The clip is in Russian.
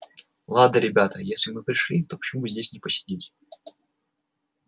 ладно ребята если мы пришли то почему бы здесь не посидеть